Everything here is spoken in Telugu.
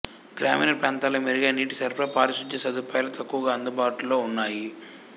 గ్రామీణ ప్రాంతాలలో మెరుగైన నీటి సరఫరా పారిశుద్ధ్య సదుపాయాలు తక్కువగా అందుబాటులో ఉన్నాయి